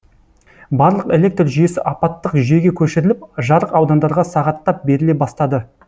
барлық электр жүйесі апаттық жүйеге көшіріліп жарық аудандарға сағаттап беріле бастады